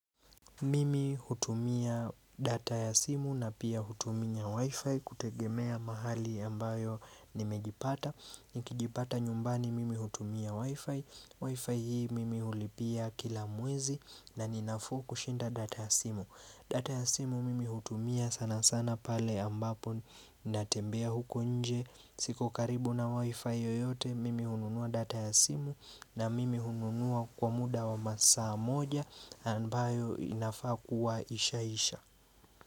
Mimi hutumia data ya simu na pia hutumia wifi kutegemea mahali ambayo nimejipata Nikijipata nyumbani mimi hutumia wifi wifi hii mimi ulipia kila mwezi na ninafuu ku shinda data ya simu data ya simu mimi hutumia sana sana pale ambapo natembea huko nje siko karibu na wifi yoyote mimi hununua data ya simu na mimi hununuwa kwa muda wa masaa moja ambayo inafaa kuwa isha isha.